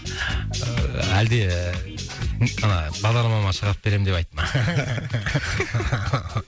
ыыы әлде ііі ана бағдарламама шығарып беремін деп айтты ма